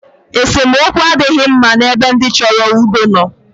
Esemookwu adịghị mma n' ebe ndị chọrọ udo nọ.